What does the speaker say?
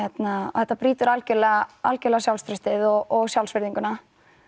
þetta brýtur algjörlega algjörlega sjálfstraustið og sjálfsvirðinguna